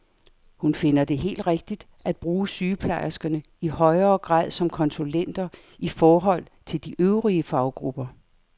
Hun finder det helt rigtigt at bruge sygeplejerskerne i højere grad som konsulenter i forhold til de øvrige faggrupper.